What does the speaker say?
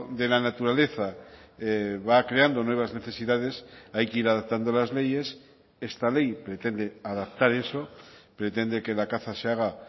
de la naturaleza va creando nuevas necesidades hay que ir adaptando las leyes esta ley pretende adaptar eso pretende que la caza se haga